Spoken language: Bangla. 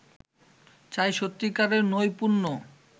চাই সত্যিকারের নৈপুণ্য